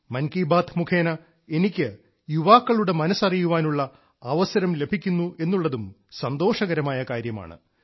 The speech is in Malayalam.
മൻ കി ബാത്ത് മുഖേന എനിക്ക് യുവാക്കളുടെ മനസ്സ് അറിയാനുള്ള അവസരം ലഭിക്കുന്നു എന്നുള്ളതും സന്തോഷകരമായ കാര്യമാണ്